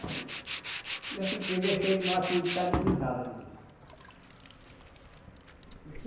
Aí já fiquei, deixei mais ficar no que estava mesmo.